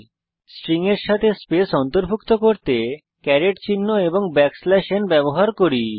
আমরা স্ট্রিং এর সাথে স্পেস অন্তর্ভুক্ত করতে ক্যারেট চিহ্ন এবং n ব্যবহার করছি